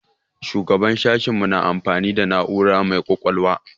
Shugaban sashen mu na amfani da na'ura mai ƙwaƙwalwa.